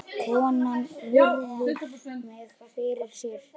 Konan virðir mig fyrir sér.